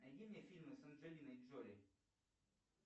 найди мне фильмы с анджелиной джоли